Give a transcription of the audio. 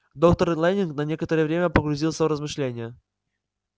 доктор лэннинг на некоторое время погрузился в размышления